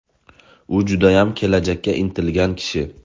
U judayam kelajakka intilgan kishi.